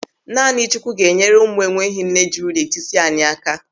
Naanị Chukwu ga-enyere ụmụ enweghị nne juru n'etiti anyị.